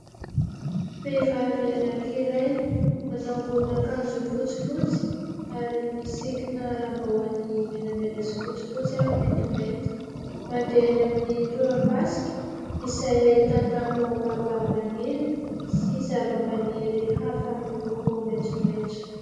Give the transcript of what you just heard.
Vehivavy anankiray, manao ambonin'akanjo fotsifotsy ary misikina lambahoany menamena sy fotsifotsy ary mantimainty. Mandeha eny amin'ny torapasika izay ahitana baobaba maniry sy zavamaniry hafa miloko maitsomaitso.